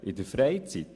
In der Freizeit?